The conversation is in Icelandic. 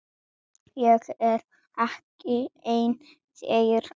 Ég er ekki ein þeirra.